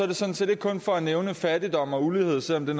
det sådan set ikke kun for at nævne fattigdom og ulighed selv om det